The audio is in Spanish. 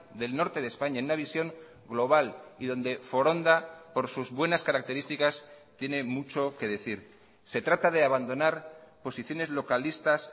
del norte de españa en una visión global y donde foronda por sus buenas características tiene mucho que decir se trata de abandonar posiciones localistas